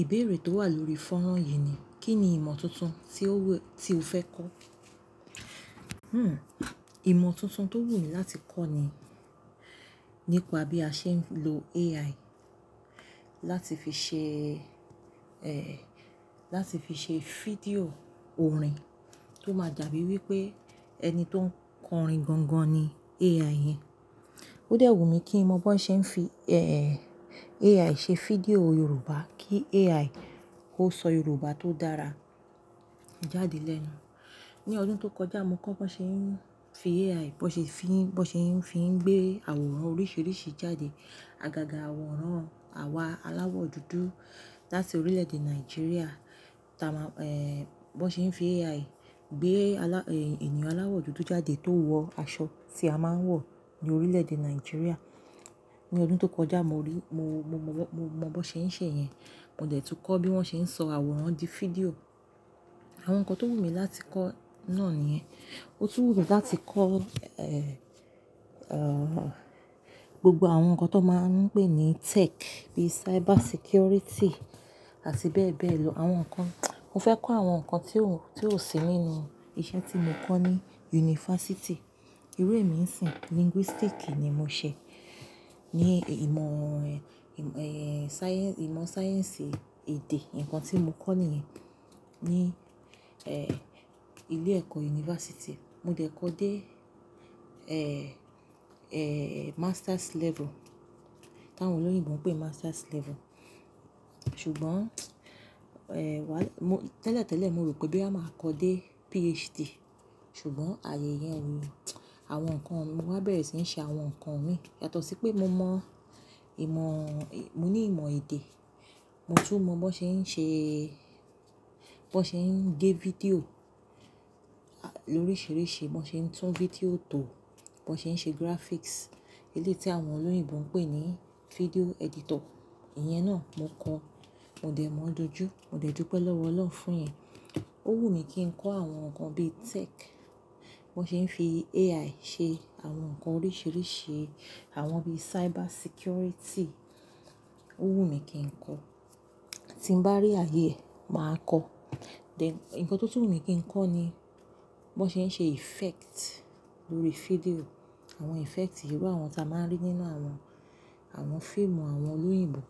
Ìbéèrè tó wà lórí fónrán yìí ni, kín ni ìmọ̀ tuntun tí ó wù, tí o fẹ́ kọ́? Ìmọ̀ tuntun tó wù mí láti kọ́ ni, nípa bí a ṣe ń lo AI, láti fi ṣe, láti fi ṣe fídíò orin tó máa dàbí wí pé ẹni tó ń kọ orin gan gan ni AI yẹn. Ó dẹ̀ wù mí kí n mọ bó ṣe ń fi, AI ṣe fídíò Yorùbá, kí AI ó sọ Yorùbá tó dára jáde lẹ́nu. Ni ọdún tó kọjá mo kọ́ bó ṣe ń fi AI, bó ṣe fi, bó ṣe ń fi gbé àwòrán oríṣìíríṣìí jáde. Àgàgà àwòrán àwa aláwọ̀ dúdú láti orílẹ̀-èdè Nàìjíríà, táa má, bó ṣe ń fi AI gbé alá, ènìyàn aláwọ̀ dúdú jáde tó wọ aṣọ tí a máa ń wọ̀ ní orílẹ̀-èdè Nàìjíríà. Ni ọdún tó kọjá mo rí, mo, mo mọ̀, mo mọ bó ṣe ń ṣe yẹn. Mo dẹ̀ tun kọ́ bí wón ṣe ń sọ àwòrán di fídíò. Àwọn nǹkan tó wù mí láti kọ́ náà nìyẹn. Ó tún wù mí láti kọ́, gbogbo àwọn nǹkan tó máa ń pè ní tech, bí i cyber security àti bẹ́ẹ̀ bẹ́ẹ̀ lọ. Àwọn nǹkan, mo fẹ́ kọ́ àwọn nǹkan tí ó, tí ó sì nínú iṣẹ́ tí mo kọ́ ní yunifásítì. Iru emi ń sìn, linguistics ni mo ṣe ní ìmọ̀, ìmọ̀ sáyẹ́nsì èdè. Ìnǹkan tí mo kọ́ níyẹn, ní, ilé-ẹ̀kọ́ yunifásítì. Mo dẹ̀ kọ́ dé, master's level, táwọn olóyìnbo ń pè master's level. Ṣùgbọ́n, wá, mo, tẹ́lẹ̀ tẹ́lẹ̀ mo rò pé bí a máa kọ́ dé PhD, ṣùgbọ́n ààyè yẹn o, àwọn nǹkan mi, mo wá bẹ̀rẹ̀ sí ń ṣe àwọn nǹkan mi. Yàtọ̀ sí pé mo mọ ìmọ̀, mo ní ìmọ̀ èdè. Mo tún mọ bó ṣe ń ṣe, bó ṣe ń gé fídíò lóríṣiríṣi, bó ṣe ń tún fídíò tò, bó ṣe ń ṣe graphics. Eléyi ti àwọn olóyìnbo ń pè ní video editor. Ìyẹn náà mo kọ́. Mo dẹ̀ mọ̀ ọ́n dojú. Mo dẹ̀ dúpẹ́ lọ́wọ́ Ọlọ́run fún yẹn. Ó wù mí kí n kọ́ àwọn nǹkan bíi tech, bó ṣe ń fi AI ṣe àwọn nǹkan oríṣìíríṣìí, àwọn bíi cyber security. Ó wù mí kí n kọ́. Tí n bá rí ààyè, màá kọ́. Then, ǹkan tó tún wù mí kí n kọ́ ni, bó ṣe ń ṣe effect lórí fídíò. Àwọn effect ìrú àwọn tí a máa ń rí nínú àwọn, àwọn fíìmù àwọn olóyìnbo.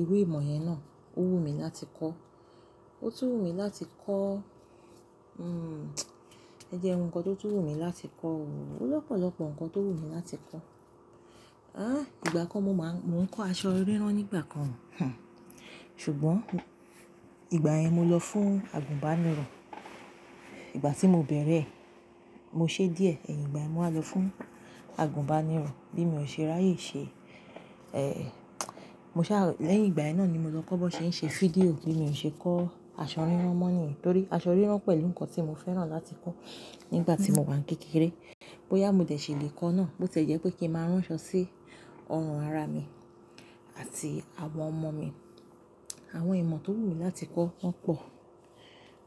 Irú ìmọ̀ yẹn náà ó wù mí láti kọ́. Ó tún wù mí láti kọ́, e jẹ́ n wọ nǹkan tó tún wù mí láti kọ́ o. Ó lọ́pọ̀lọ́pọ̀ ǹkan tó wù mí láti kọ́. Ìgbà kan mo máa ń, mò ń kọ́ aṣọ rírán nígbà kan. Ṣùgbọ́n ìgbà yẹn mo lọ fún àgùnbánirọ̀. Ìgbà tí mo bẹ̀rẹ̀, mo ṣe díẹ̀, èyín ìgbà yen mo wá lọ fún àgùnbánirọ̀ bí mi ò ṣe rí ààyè ṣe, mo sá, lẹ́yìn ìgbà yẹn náà ni mo lọ kọ́ bó ṣe ń ṣe fídíò bí mo ṣe kọ́ aṣọ rírán mọ́ ni. Nítorí aṣọ rírán pẹ̀lú ǹkan tí mo fẹ́ràn láti kọ́ nígbà tí mo wà ní kékeré. Bí ó yá mo dẹ̀ ṣe lè kọ́ náà, bó ti jẹ́ pé kí n máa ránṣọ sí ọrùn ara mi àti àwọn ọmọ mi. Àwọn ìmọ̀ tó wù mí láti kọ́ wọ́n pọ̀.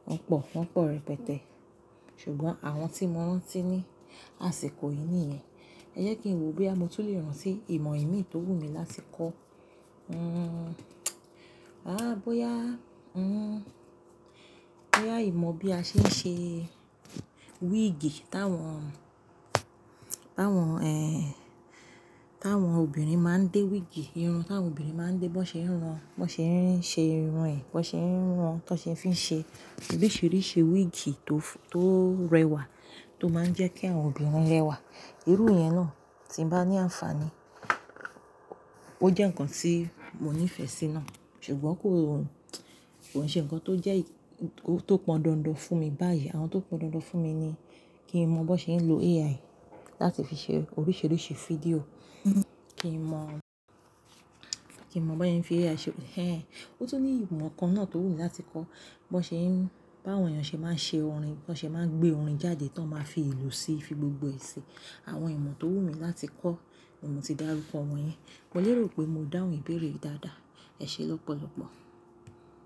Wọ́n pọ̀, wọ́n pọ̀ rẹpẹtẹ. Ṣùgbọ́n àwọn tí mo ránti ní àsìkò yìí nìyẹn. Ẹ jẹ́ kí n wò boya mo tún lè ránti ìmọ̀ ìmi tó wù mí láti kọ́. Bóyá, bóyá ìmọ̀ bí a ṣe ń ṣe wíìgì táwọn, táwọn, táwọn obìnrin máa ń dé wíìgì irun, táwọn obìnrin máa ń dé, bó ṣe ń ran, bó ṣe ń ṣe irun ẹ, bó ṣe ń ran, bó ṣe ń fi ṣe oríṣìíríṣìí wíìgì tó, tó rẹwà tó máa ń jẹ́ kí àwọn obìnrin rẹwà. Irú yẹn náà tí n bá ní àǹfààní, ó jẹ́ ǹkan tí mo ní ìfẹ́ sí náà. Ṣùgbọ́n kò, kò ṣe ǹkan tó jẹ́, tó pọn dandan fún mi báyìí. Àwọn tó pọn dandan fún mi ni kí n mọ bó ṣe ń lo AI láti fi ṣe oríṣìíríṣìí fídíò. Kí n mọ̀, kí n mọ̀ bóya ń fi AI ṣe, ẹ́ ẹ̀. Ó tún ní ìmọ̀ kan náà tó wù mí láti kọ́. Bó ṣe ń, bá àwọn èèyàn ṣe máa ń ṣe orin, bó ṣe máa ń gbé orin jáde tó máa fi ìlú síi, fi gbogbo èsì. Àwọn ìmọ̀ tó wù mí láti kọ́, oun mo ti dárúkọ wọn yẹn. Mo lè rò pé mo dáhùn ìbéèrè yi dáadáa. Ẹ ṣé lọ́pọ̀lọ́pọ̀.